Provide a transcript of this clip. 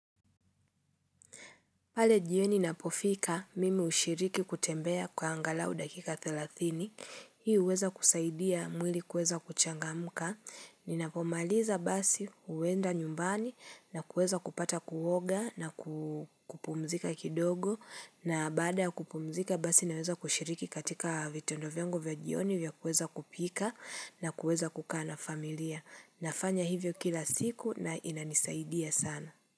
Pale jioni napofika, mimi hushiriki kutembea kwa angalau dakika 30, hii uweza kusaidia mwili kuweza kuchangamka, ninapomaliza basi, huenda nyumbani, na kueza kupata kuoga, na kupumzika kidogo, na baada ya kupumzika basi naweza kushiriki katika vitendo vyangu za vya jioni vya kuweza kupika, na kuweza kukaa na familia. Nafanya hivyo kila siku na inanisaidia sana.